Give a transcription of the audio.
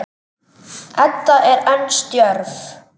Edda er enn stjörf.